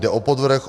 Jde o podvrh.